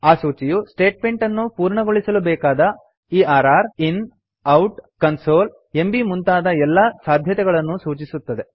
ಆ ಸೂಚಿಯು ಸ್ಟೆಟ್ಮೆಂಟ್ ಅನ್ನು ಪೂರ್ಣಗೊಳಿಸಲು ಬೇಕಾದ err in out console MB ಮುಂತಾದ ಎಲ್ಲಾ ಸಾಧ್ಯತೆಗಳನ್ನೂ ಸೂಚಿಸುತ್ತದೆ